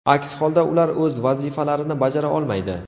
Aks holda ular o‘z vazifalarini bajara olmaydi.